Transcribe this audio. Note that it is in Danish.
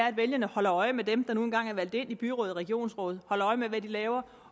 at vælgerne holder øje med dem der nu engang er valgt ind i byrådet og regionsrådet holder øje med hvad de laver